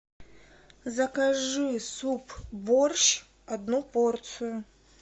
закажи суп борщ одну порцию